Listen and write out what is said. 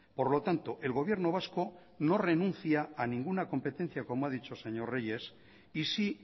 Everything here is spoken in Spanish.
por lo tanto el gobierno vasco no renuncia a ninguna competencia como ha dicho el señor reyes y sí